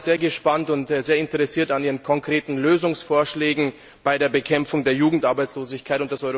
Wir sind sehr interessiert an Ihren konkreten Lösungsvorschlägen bei der Bekämpfung der Jugendarbeitslosigkeit.